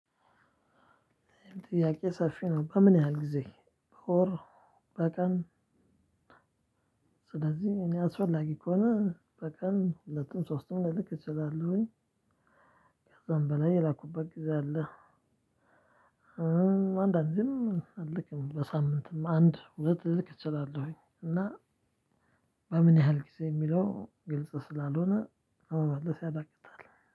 ጥያቄው ሰፊ ነው በምን ያህል ጊዜ? በቀን ስለዚህ እኔ አስፈላጊ ከሆነ በቀን ሁለቱም ሶስቱም ልልክ እችላለሁኝ። ከዛም በላይ የላኩበት ጊዜ አለ። አንዳንዴም አልክም በሳምንትም አንድ ወደ ሁለት ልልክ እችላለሁኝ እና። በምን ያህል ጊዜ የሚለው ግልጽ ስላልሆነ መመለስ ያዳግታል።